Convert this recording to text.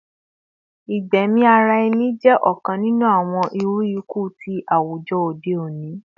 Igbẹmi ara ẹni jẹ ọkan ninu awọn iru iku ni awujọ ode oni